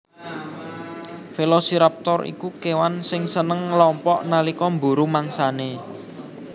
Velociraptor iku kèwan sing seneng ngelompok nalika mburu mangsanè